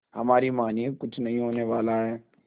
हमारी मानिए कुछ नहीं होने वाला है